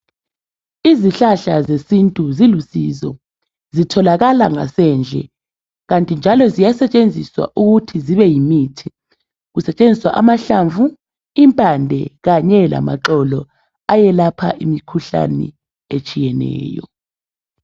Izihlahla zesintu zilusizo zitholakala ngasendle kanti njalo ziyasetshenziswa ukuthi zibe yimithi kusetshenziswa amahlamvu, impande kanye lamaxolo ayelapha imikhuhlane ehlukeneyo